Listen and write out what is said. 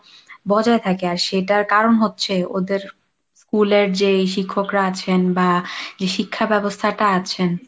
বজায় থাকে আর সেটার কারণ হচ্ছে ওদের school এর যে এই শিক্ষকরা আছেন বা যে শিক্ষা ব্যবস্থাটা আছেন